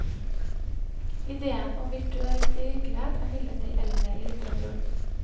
Ideen om virtuell virkelighet er imidlertid eldre i litteraturen.